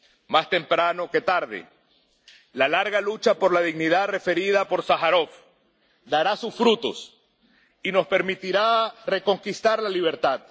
Más temprano que tarde la larga lucha por la dignidad referida por Sájarov dará sus frutos y nos permitirá reconquistar la libertad.